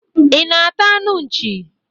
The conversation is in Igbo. Ị na-ata anụ nchị?